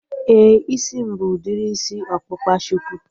Éè, isi m bụ udiri isi ọkpụkpa shuku